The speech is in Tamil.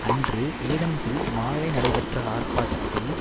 அன்று ஏதென்ஸில் மாலை நடைபெற்ற ஆர்ப்பாட்டத்தில்